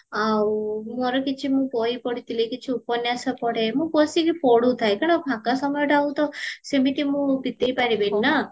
ଆଉ ମୋର କିଛି ମୁଁ ବହି ପଢିଥିଲି କିଛି ଉପନ୍ୟାସ ପଢେ ମୁଁ ବସିକି ପଢୁଥାଏ କାରଣ ଫାଙ୍କ ସମୟଟା ଆଉ ତ ସେମିତି ମୁଁ ବିତେଇ ପାରିବିନି ନା